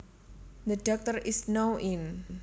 The Doctor is now in